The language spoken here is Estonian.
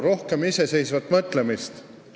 Rohkem iseseisvat mõtlemist!